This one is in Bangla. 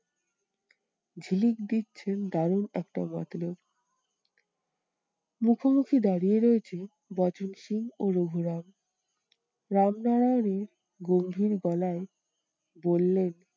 ঝিলিক দিচ্ছে দারুন একটা মতলব। মুখোমুখি দাঁড়িয়ে রয়েছে বচনসুর ও রঘুরাম রামনারায়ণের গম্ভীর গলায় বললেন,